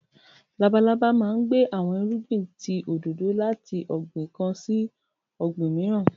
Lábàlábà máà ń gbé awọn irúgbìn tí òdòdò lati ọgbin kán sí ọgbin miiran.